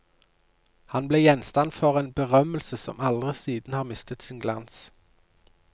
Han ble gjenstand for en berømmelse som aldri siden har mistet sin glans.